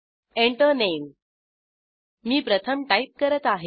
Enter Name मी प्रथम type करत आहे